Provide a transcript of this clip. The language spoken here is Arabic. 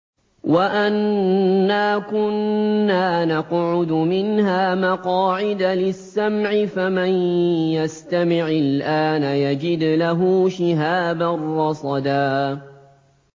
وَأَنَّا كُنَّا نَقْعُدُ مِنْهَا مَقَاعِدَ لِلسَّمْعِ ۖ فَمَن يَسْتَمِعِ الْآنَ يَجِدْ لَهُ شِهَابًا رَّصَدًا